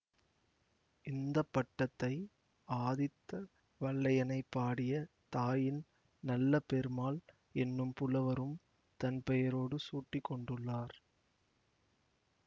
இந்த பட்டத்தை ஆதித்த வல்லையனைப் பாடிய தாயின் நல்ல பெருமாள் என்னும் புலவரும் தன் பெயரோடு சூட்டிக்கொண்டுள்ளார்